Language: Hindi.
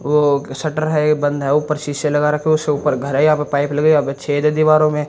ओ शटर है बंद है ऊपर शीशे लगा रखे उस से ऊपर घर है यहां पर पाइप लगी है छेद है दीवारों में --